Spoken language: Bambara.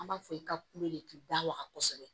An b'a fɔ i ka kulo de k'i da waga kosɛbɛ